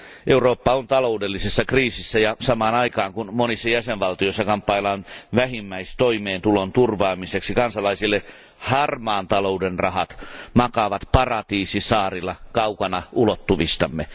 Eurooppa on taloudellisessa kriisissä ja samaan aikaan, kun monissa jäsenvaltioissa kamppaillaan vähimmäistoimeentulon turvaamiseksi kansalaisille, harmaan talouden rahat makaavat paratiisisaarilla kaukana ulottuvistamme.